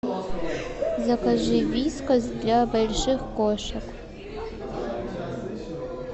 закажи вискас для больших кошек